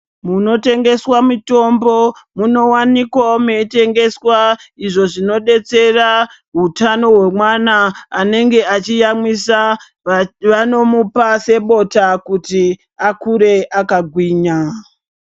Munotengeswa mitombo munowanikawo meitengeswa izvo zvinodetsera hutano hwemwana anenge achiyamwisa. Vanomupa sebota kuti akure akagwinya.